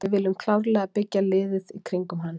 Við viljum klárlega byggja liðið í kringum hann.